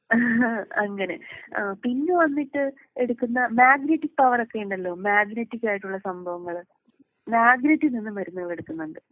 ഏഹ്ഹ് അങ്ങനെ ആഹ് പിന്നെ വന്നിട്ട് എടുക്കുന്ന മാഗ്നെറ്റിക് പവറൊക്കെ ഉണ്ടല്ലോ മാഗ്നെറ്റിക് ആയിട്ടുള്ള സംഭവങ്ങള്. മാഗ്നെറ്റിൽ നിന്നും മരുന്നുകൾ എടുക്കുന്നുണ്ട്.